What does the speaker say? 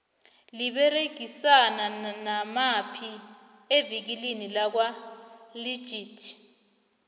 liberegisana namaphi ivikile lakwa legit